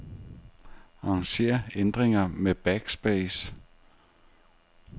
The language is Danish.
Arranger ændringer med backspace.